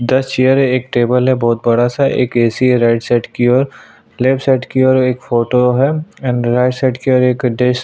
दस चेयर है एक टेबल है बहुत बड़ा-सा एक एसी है राइट साइड की और लेफ्ट साइड की और एक फोटो है एंड राइट साइड की ओर एक डेस्क --